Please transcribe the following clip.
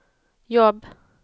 jobb